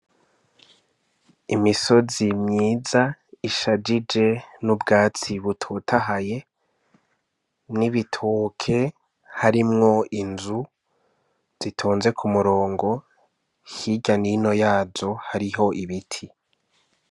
Imisozi myiza ishajije n'ubwatsi butotahaye, n'ibitoke harimwo inzu zitonze ku murongo, hirya n'ino yazo hariho ibiti.